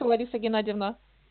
то лариса геннадьевна